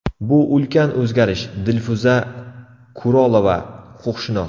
Bu ulkan o‘zgarish”, – Dilfuza Kurolova, huquqshunos.